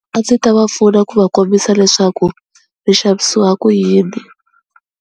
A ndzi ta va pfuna ku va kombisa leswaku ri xavisiwa ku yini.